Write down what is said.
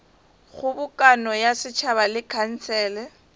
kgobokano ya setšhaba le khansele